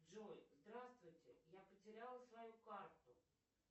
джой здравствуйте я потеряла свою карту